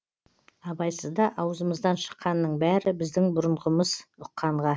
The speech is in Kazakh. абайсызда аузымыздан шыққанның бәрі біздің бұрынғымыз ұққанға